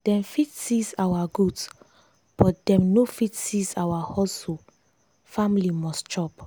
dem fit seize our goods but dem no fit seize our hustle family must chop.